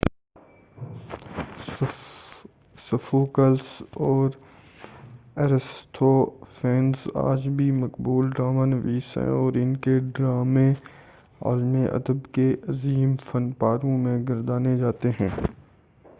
Sophocles اور Aristophanes آج بھی مقبول ڈرامہ نویس ہیں اور ان کے ڈرامے عالم ادب کے عظیم فن پاروں میں گردانے جاتے ہیں